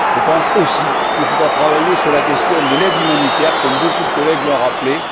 Je pense aussi qu'il faudra travailler sur la question de l'aide humanitaire, comme beaucoup de collègues l'ont rappelé.